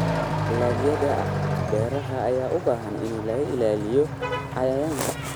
Dalagyada beeraha ayaa u baahan in laga ilaaliyo cayayaanka.